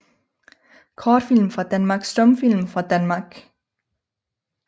Kortfilm fra Danmark Stumfilm fra Danmark